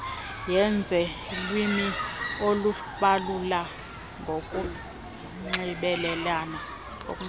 yezelwimi ukubalula kokunxibelelana